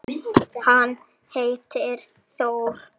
Hann heitir Þór.